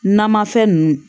Namafɛn ninnu